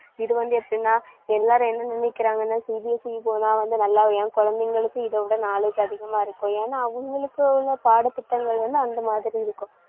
இதுவந்து எப்படின்னா எல்லாரும் என்ன நினைக்குறாங்கனா CBSE போனா வந்து நல்லா என் குழந்தைகளுக்கு இதை விட knowledge அதிகமா இருக்கும். ஏன்னா அவங்களுக்குள்ள பாடத்திட்டங்கள் வந்து அந்தமாதிரி இருக்கும்